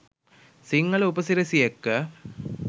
සිංහල උප සිරැසි එක්ක